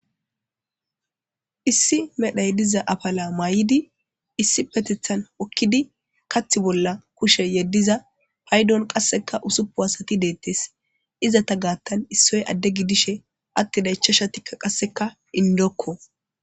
Issi medhoy diza afala mayidi issipetetan hokidi kathi bolla kushe yediza paydoni qaseka ussupuni asati detesi, izeta gathani issoti Ade gidishe atida ichashatika indoko.